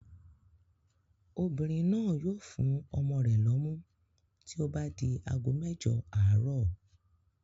Obìnrin náà yóò fún ọmọ rẹ̀ lọ́mú tí ó bá di ago mẹ́jọ àárọ̀.